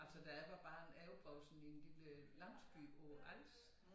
Altså da jeg var barn jeg opvokset i en lille landsby på Als